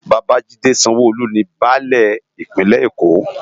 Babajide Sanwo-Olu ni bãlẹ Ipinlè-Ékó